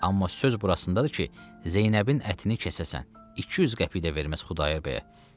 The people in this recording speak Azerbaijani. Amma söz burasındadır ki, Zeynəbin ətini kəsəsən, 200 qəpik də verməz Xudayar bəyə.